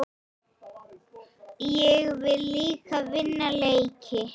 Ég vil líka vinna leiki.